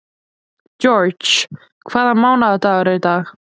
George, hvaða mánaðardagur er í dag?